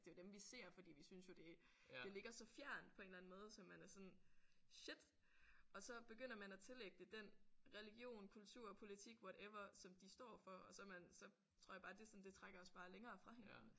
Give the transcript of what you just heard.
Det er jo dem vi ser fordi vi synes jo det det ligger så fjernt på en eller anden måde så man er sådan shit og så begynder man at tillægge det den religion kultur politik whatever som de står for og så man så tror jeg bare det sådan det trækker os bare længere fra hinanden